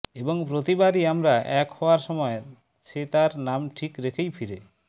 এবং প্রতিবারই আমরা এক হওয়ার সময় সে তাঁর নাম ঠিক রেখেই ফিরে